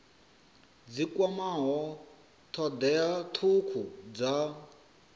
dzi kwamaho thodea thukhu dza